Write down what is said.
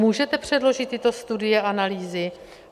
Můžete předložit tyto studie a analýzy?